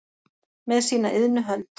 með sína iðnu hönd